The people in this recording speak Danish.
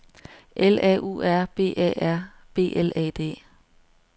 L A U R B Æ R B L A D